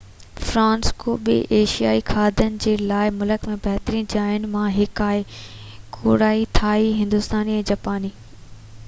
سان فرانسسڪو ٻين ايشيائي کاڌن جي لاءِ بہ ملڪ ۾ بهترين جاين مان هڪ آهي ڪوريائي ٿائي هندوستاني ۽ جاپاني